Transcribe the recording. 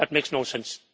That makes no sense.